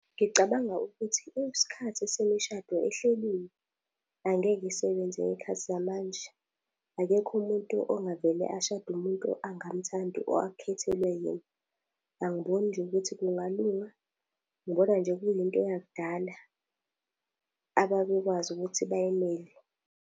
Ngicabanga ukuthi isikhathi semishado ehleliwe, angeke isebenze ngey'khathi zamanje. Akekho umuntu ongavele ashade umuntu angamuthandi or akhethelwe yena. Angiboni nje ukuthi kungalunga, ngibona nje kuyinto yakudala ababekwazi ukuthi bayimele.